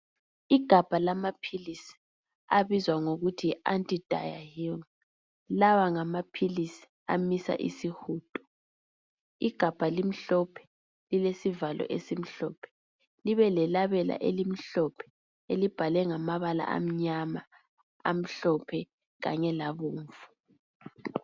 Igabha lama philizi abizwa kuthi yi lawa ngamaphilizi amisa isihudo igamba limhlophe lilesivalo esimhlophe libe lelabela elimhlophe elibhalwe ngamabala amnyama kanye lamhlophe